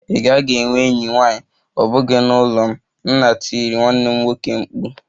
Ị gaghị enwe enyi nwanyị, ọ bụghị n'ụlọ m! Nna tiri mkpu na m nwanne